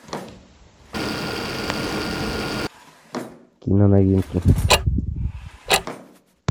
киноновинки